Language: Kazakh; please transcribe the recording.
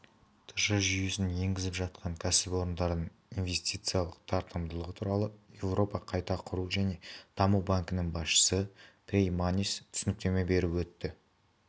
тж жүйесін енгізіп жатқан кәсіпорындардың инвестициялық тартымдылығы туралы еуропа қайта құру және даму банкінің басшысы прейманис түсініктеме беріп өтті